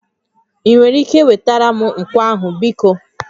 Ị nwere ike wetara m nkwọ ahụ biko?